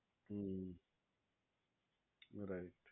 હમ્મ right